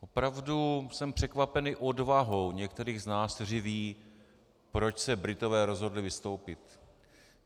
Opravdu jsem překvapený odvahou některých z nás, kteří vědí, proč se Britové rozhodli vystoupit.